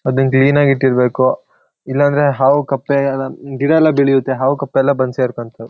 ಅದನ್ ಕ್ಲೀನ್ಆಗ್ ಇಟ್ಟಿರ್ಬೇಕು ಇಲ್ಲಾಂದ್ರೆ ಹಾವು ಕಪ್ಪೆಗ-- ಗಿಡ ಎಲ್ಲ ಬೆಳಿಯತ್ತೆ ಹಾವು ಕಪ್ಪೆ ಎಲ್ಲ ಬಂದ್ ಸೇರ್ಕೊಂತಾವೆ.--